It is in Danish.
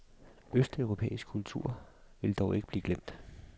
Østeuropæisk kultur vil dog ikke blive glemt.